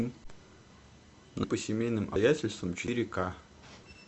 по семейным обстоятельствам четыре ка